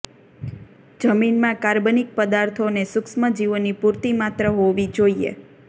જમીનમાં કાર્બનિક પદાર્થો અને સુક્ષ્મસજીવોની પૂરતી માત્રા હોવી જોઈએ